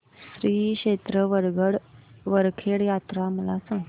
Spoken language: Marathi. श्री क्षेत्र वरखेड यात्रा मला सांग